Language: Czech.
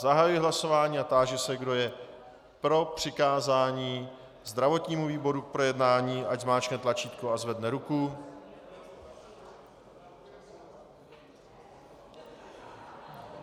Zahajuji hlasování a táži se, kdo je pro přikázání zdravotnímu výboru k projednání, ať zmáčkne tlačítko a zvedne ruku.